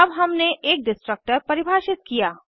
अब हमने एक डिस्ट्रक्टर परिभाषित किया